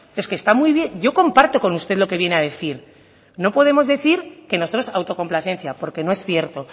es que está muy bien yo comparto con usted lo que viene a decir no podemos decir que nosotros autocomplacencia porque no es cierto